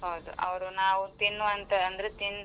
ಹೌದು ಅವ್ರು ನಾವ್ ತಿನ್ನುವಂತ ಅಂದ್ರೆ ತಿನ್.